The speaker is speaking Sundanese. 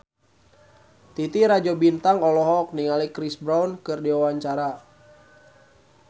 Titi Rajo Bintang olohok ningali Chris Brown keur diwawancara